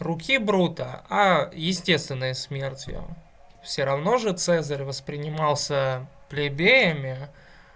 руки брутто а естественная смерть её всё равно же цезарь воспринимался плебеями